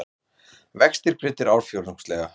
Vextir greiddir ársfjórðungslega